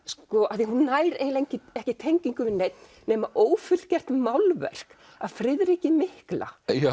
af því hún nær eiginlega ekki tengingu við neinn nema ófullgert málverk af Friðriki mikla